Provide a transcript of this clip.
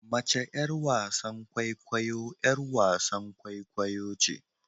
Mace yar wasan kwaikwayo yar wasan kwaikwayo ce